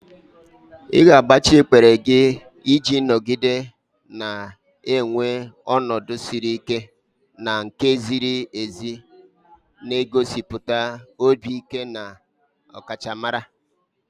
Ị ga-agbatị ikpere gị iji nọgide na-enwe ọnọdụ siri ike na nke ziri ezi, na-egosipụta obi ike na ọkachamara.